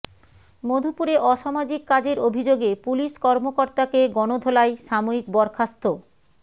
মধুপুরে অসামাজিক কাজের অভিযোগে পুলিশ কর্মকর্তাকে গণধোলাই সাময়িক বরখাস্ত